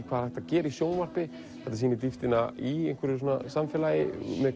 hvað er hægt að gera í sjónvarpi þetta sýnir dýptina í einhverju samfélagi